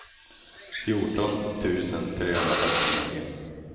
fjorton tusen trehundrafyrtionio